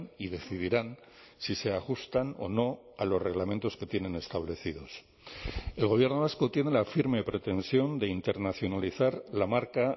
y decidirán si se ajustan o no a los reglamentos que tienen establecidos el gobierno vasco tiene la firme pretensión de internacionalizar la marca